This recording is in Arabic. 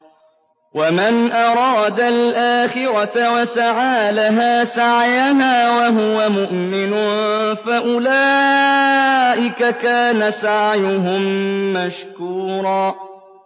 وَمَنْ أَرَادَ الْآخِرَةَ وَسَعَىٰ لَهَا سَعْيَهَا وَهُوَ مُؤْمِنٌ فَأُولَٰئِكَ كَانَ سَعْيُهُم مَّشْكُورًا